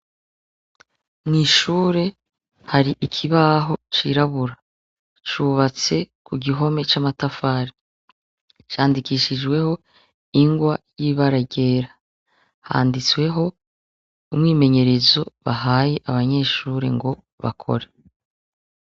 Mw'ishure hari ikibaho cirabura cubatse ku gihome c'amatafari candikishijweho ingwa y'ibaragera handitsweho umwimenyerezo bahaye abanyeshure ngo bakora.